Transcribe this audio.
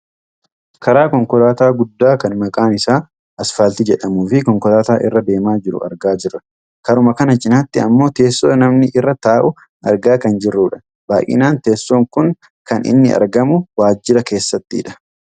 karaa konkolaataa guddaa kan maqaan isaa asfaaltii jedhamuufi konkolaataa irra deemaa jiru argaa jirra. karuma kana cinaatti ammoo teessoo namni irra taa'u argaa kan jirrudha. baayyinaan teessoon kun kan inni argamu waajira keessattidha.